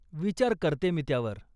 विचार करते मी त्यावर.